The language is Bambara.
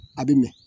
A bɛ mɛn